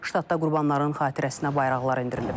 Ştatda qurbanların xatirəsinə bayraqlar endirilib.